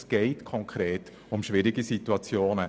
Es geht konkret um schwierige Situationen.